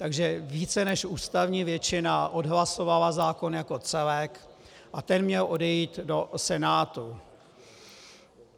Takže více než ústavní většina odhlasovala zákon jako celek a ten měl odejít do Senátu.